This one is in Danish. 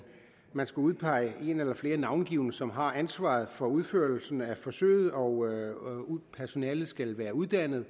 man skal udpege en eller flere navngivne som har ansvaret for udførelsen af forsøget og personalet skal være uddannet